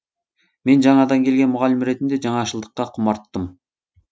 мен жаңадан келген мұғалім ретінде жаңашылдыққа құмарттым